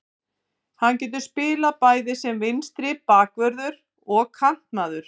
Hann getur spilað bæði sem vinstri bakvörður og kantmaður.